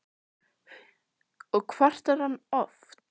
Hugrún Halldórsdóttir: Og kvartar hann oft?